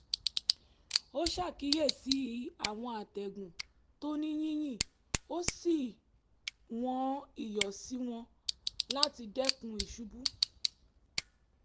ó ṣàkíyèsí àwọn àtẹ̀gùn tó ní yìnyín ó sì wọ́n iyọ̀ sí wọn láti dẹ́kun ìṣubú